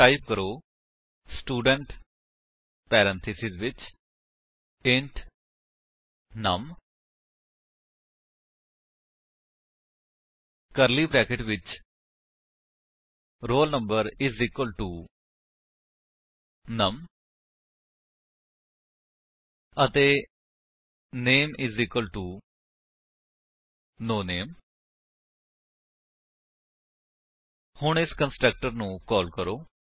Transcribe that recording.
ਹੁਣ ਟਾਈਪ ਕਰੋ student parenthesis ਵਿੱਚ ਇੰਟ ਨਮ ਕਰਲੀ ਬਰੈਕੇਟਸ ਵਿੱਚ roll number is equal to num ਅਤੇ name is equal to no name ਹੁਣ ਇਸ ਕੰਸਟਰਕਟਰ ਨੂੰ ਕਾਲ ਕਰੋ